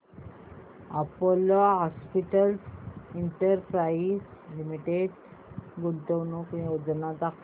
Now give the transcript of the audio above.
Apollo hospitals enterprise limited गुंतवणूक योजना दाखव